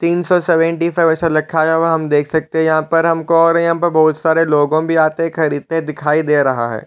तीन सो seventeen five ऐसा लिखा हुआ हम देख सकते है यहाँ पर हमको और यहाँ पे हमको और यहाँ बहुत सारे लोगो भी आते खरीदते दिखाई दे रहा है।